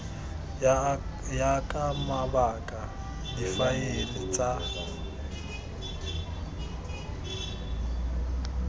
ya ka mabaka difaele tsa